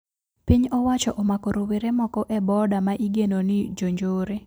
Piny owacho omako rowere moko e boda ma igeno ni jonjore